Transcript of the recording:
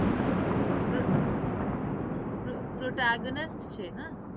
હમ તો છે ના